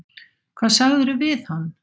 Hvað sagðirðu við hann?